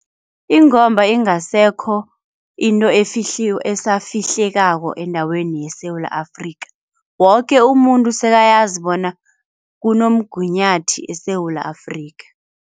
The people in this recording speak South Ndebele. Ingomba ingasekho into esafihlekako endaweni yeSewula Afrika. Woke umuntu sekayazi bona kunomgunyathi eSewula Afrika.